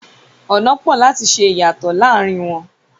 Ọnà pọ̀ láti ṣe ìyàtọ̀ láàrin wọn.